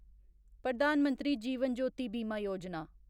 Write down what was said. Pradhan Mantri Jeevan Jyoti Bima Yojana